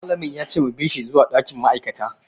Malam ya ce mu bi shi zuwa dakin ma'aikata.